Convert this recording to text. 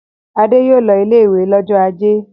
Adé yóò lọ ilé-ìwé lọ́jọ́ ajé.